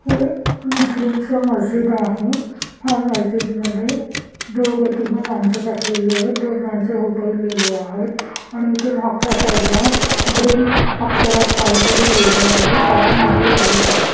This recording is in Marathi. हे मुस्लिमच मस्जिद आहे ह्या मस्जिदमध्ये दोघ तीघ माणस बसलेली आहेत दोन माणस हुबेलेली आहेत आणि इथे मागच्या साईड ला ग्रीन अक्षरात काहीतरी लिहिलेल आहे फॅन आहे लाईट आहे.